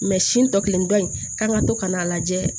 si tɔ kelen dɔ in k'an ka to ka n'a lajɛ